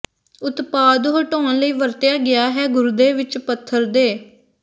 ਉਤਪਾਦ ਹਟਾਉਣ ਲਈ ਵਰਤਿਆ ਗਿਆ ਹੈ ਗੁਰਦੇ ਵਿੱਚ ਪੱਥਰ ਦੇ